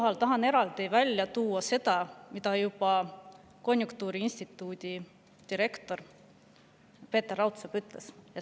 Ma tahan eraldi välja tuua seda, mida on öelnud konjunktuuriinstituudi direktor Peeter Raudsepp.